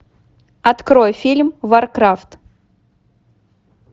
открой фильм варкрафт